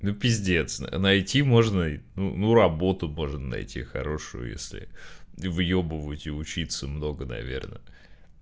ну пиздец на найти можно и ну ну работу можно найти хорошую если выёбывать и учиться много наверное